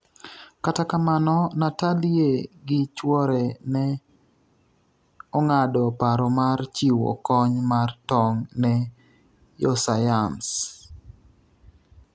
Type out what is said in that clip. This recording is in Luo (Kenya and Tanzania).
kata kamano, Natalie gi chuore ne ong'ado paro mar chiwo kony mar tong' ne yosayans